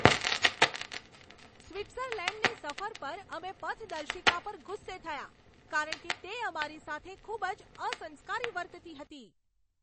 સ્વિટ્ઝર્લૅન્ડની સફર પર અમે પથદર્શિકા પર ગુસ્સે થયા કારણ કે તે અમારી સાથે ખૂબ જ અસંસ્કારી વર્તતી હતી.